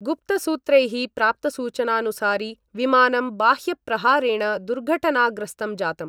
गुप्तसूत्रैः प्राप्तसूचनानुसारि विमानं बाह्यप्रहारेण दुर्घटनाग्रस्तं जातम्।